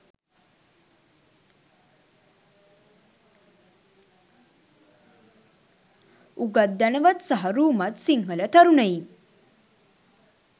උගත් ධනවත් සහ රූමත් සිංහල තරුණයින්